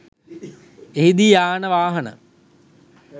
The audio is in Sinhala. එහිදී යාන වාහන